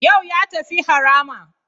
Yau ya tafi harama.